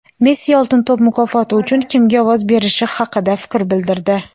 Messi "Oltin to‘p" mukofoti uchun kimga ovoz berishi haqida fikr bildirdi:.